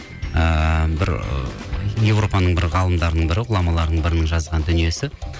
ыыы бір ы европаның бір ғалымдарының бірі ғұламаларының бірінің жазған дүниесі